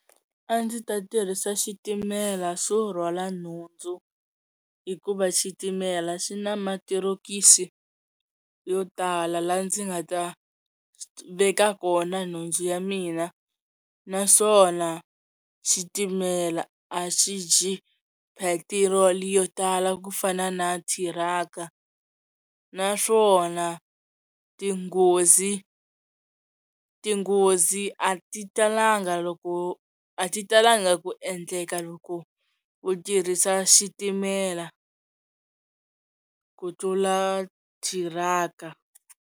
A ndzi ta tirhisa xitimela xo rhwala nhundzu hikuva xitimela xi na matirokisi yo tala laha ndzi nga ta veka kona nhundzu ya mina naswona xitimela a xi dyi phetirolo yo tala ku fana na thiraka naswona tinghozi tinghozi a ti talanga loko a ti talanga ku endleka loko u tirhisa xitimela ku tlula thiraka.